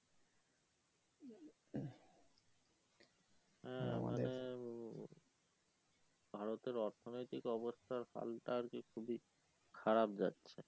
হ্যাঁ মানে ভারতের অর্থ নৈতিক অবস্থার হালটা আর কি খুবই খারাপ যাচ্ছে